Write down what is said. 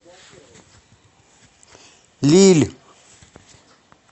лилль